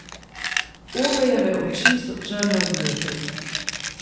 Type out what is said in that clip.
Ovejeve oči so črne od jeze.